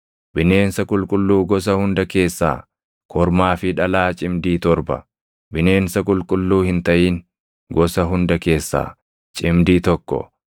Bineensa qulqulluu gosa hunda keessaa kormaa fi dhalaa cimdii torba, bineensa qulqulluu hin taʼin gosa hunda keessaa cimdii tokko,